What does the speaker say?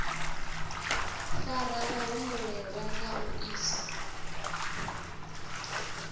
fara vhahumbulelwa na u isa